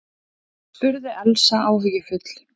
spurði Elsa áhyggjufull.